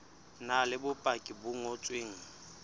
na le bopaki bo ngotsweng